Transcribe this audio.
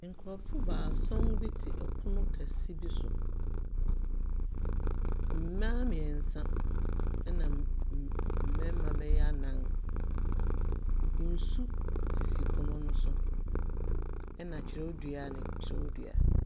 Nkorɔfo baasɔn bi te ɛpono kɛse bi so. Mbaa miɛnsa nna mbɛɛma bɛyɛ anan. Nsu sisi pono ne so ɛna twerɛdua.